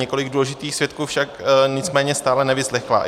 Několik důležitých svědků však nicméně stále nevyslechla.